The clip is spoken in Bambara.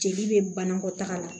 Jeli be banakɔtaga la